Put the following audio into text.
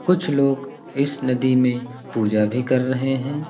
कुछ लोग इस नदी में पूजा भी कर रहे हैं।